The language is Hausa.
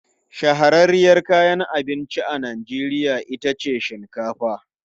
Shahararriyar kayan abinci a Najeriya ita ce shinkafa.